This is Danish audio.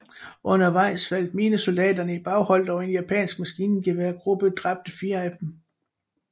Undervejs faldt marinesoldaterne i baghold og en japansk maskingeværgruppe dræbte fire af dem